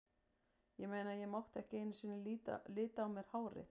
Ég meina, ég mátti ekki einu sinni lita á mér hárið.